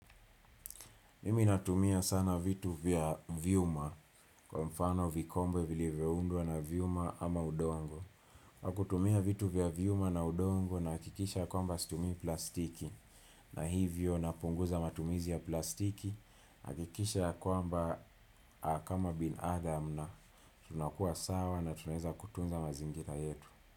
Mimi natumia sana vitu vya vyuma kwa mfano vikombe vile vilivyundwa na vyuma ama udongo. Nakutumia vitu vya vyuma na udongo na nahakikisha kwamba situmi plastiki. Na hivyo napunguza matumizi ya plastiki. Nahakikisha kwamba kama binadam na tunakua sawa na tunaweza kutunza mazingira yetu.